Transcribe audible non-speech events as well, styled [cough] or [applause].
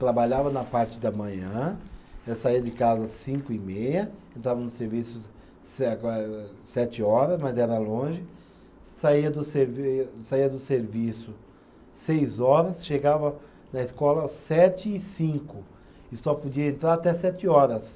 Trabalhava na parte da manhã, eu saía de casa cinco e meia, entrava no serviço se, [unintelligible] sete hora, mas era longe, saía do servi saía do serviço seis horas, chegava na escola sete e cinco e só podia entrar até sete horas